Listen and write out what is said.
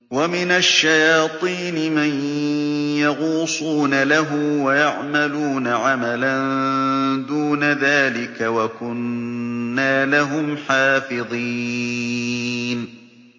وَمِنَ الشَّيَاطِينِ مَن يَغُوصُونَ لَهُ وَيَعْمَلُونَ عَمَلًا دُونَ ذَٰلِكَ ۖ وَكُنَّا لَهُمْ حَافِظِينَ